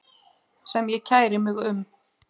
sem ég kæri mig um.